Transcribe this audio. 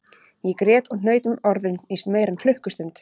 Ég grét og hnaut um orðin í meira en klukkustund